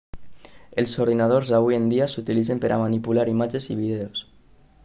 els ordinadors d'avui en dia s'utilitzen per a manipular imatges i vídeos